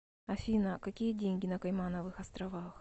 афина какие деньги на каймановых островах